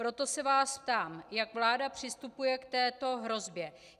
Proto se vás ptám, jak vláda přistupuje k této hrozbě.